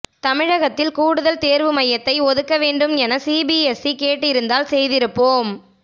தமிழகத்தில் கூடுதல் தேர்வு மையத்தை ஒதுக்க வேண்டும் என சிபிஎஸ்இ கேட்டிருந்தால் செய்திருப்போம்